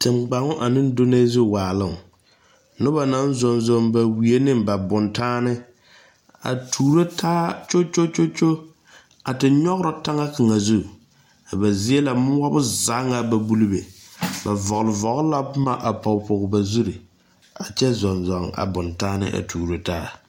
Tengbaoŋ ane donnɛɛ zu waaloŋ noba naŋ zɔŋ zɔŋ ba wie ane ba bontanne a tuuro taa kyokyokyokyo a te nyɔgrɔ taŋa kaŋa zu a ba zie na moɔ zaa ŋa ba buli be ba vɔgle vɔgle la boma a pɔge pɔge a ba zuri a kyɛ zɔŋ zɔŋ a bontanne a tuuro taa.